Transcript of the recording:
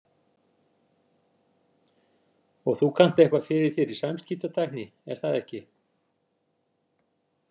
Og þú kannt eitthvað fyrir þér í samskiptatækni, er það ekki?